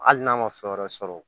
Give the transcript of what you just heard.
Hali n'a ma fɛn wɛrɛ sɔrɔ